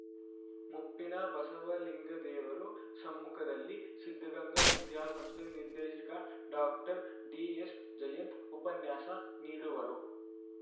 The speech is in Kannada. ಮುಪ್ಪಿನ ಬಸವಲಿಂಗದೇವರು ಸಮ್ಮುಖದಲ್ಲಿ ಸಿದ್ದಗಂಗಾ ವಿದ್ಯಾಸಂಸ್ಥೆ ನಿರ್ದೇಶಕ ಡಾಕ್ಟರ್ ಡಿಎಸ್‌ಜಯಂತ್‌ ಉಪನ್ಯಾಸ ನೀಡುವರು